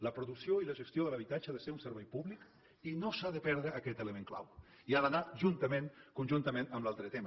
la producció i la gestió de l’habitatge han de ser un servei públic i no s’ha de perdre aquest element clau i ha d’anar juntament conjuntament amb l’altre tema